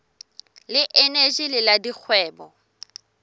le eneji le la dikgwebo